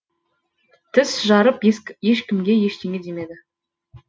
тіс жарып ешкімге ештеңе демеді